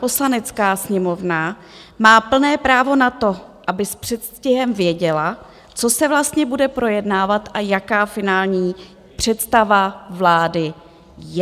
Poslanecká sněmovna má plné právo na to, aby s předstihem věděla, co se vlastně bude projednávat a jaká finální představa vlády je.